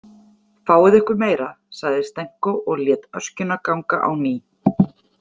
Fáið ykkur meira, sagði Stenko og lét öskjuna ganga á ný.